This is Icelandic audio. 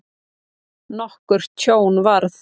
Nokkurt tjón varð.